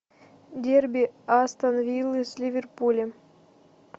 дерби астон виллы с ливерпулем